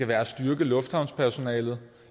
være at styrke lufthavnspersonale